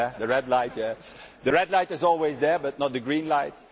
The red light is always there but not the green light.